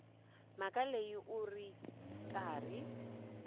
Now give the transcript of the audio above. mhaka leyi u ri karhi